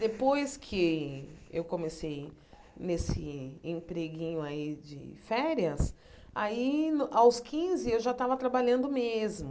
Depois que eu comecei nesse empreguinho aí de férias, aí no aos quinze eu já tava trabalhando mesmo.